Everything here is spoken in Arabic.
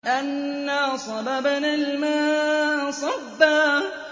أَنَّا صَبَبْنَا الْمَاءَ صَبًّا